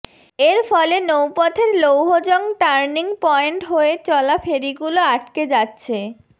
এর ফলে নৌপথের লৌহজং টার্নিং পয়েন্ট হয়ে চলা ফেরিগুলো আটকে যাচ্ছে